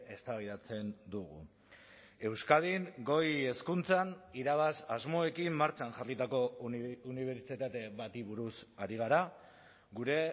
eztabaidatzen dugu euskadin goi hezkuntzan irabaz asmoekin martxan jarritako unibertsitate bati buruz ari gara gure